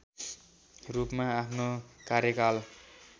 रूपमा आफ्नो कार्यकाल